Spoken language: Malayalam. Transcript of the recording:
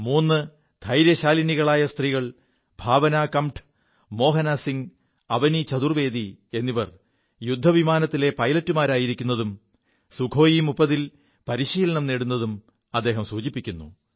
മൂു ധൈര്യശാലികളായ സ്ത്രീകൾ ഭാവനാ കംഠ് മോഹനാ സിംഗ് അവനീ ചതുർവ്വേദി എിവർ യുദ്ധവിമാനത്തിലെ പൈലറ്റുമാരായിരിക്കുതും സുഖോയി 30 ൽ പരിശീലനം നേടുതും അദ്ദേഹം സൂചിപ്പിക്കുു